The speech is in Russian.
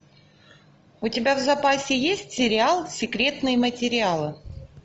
у тебя в запасе есть сериал секретные материалы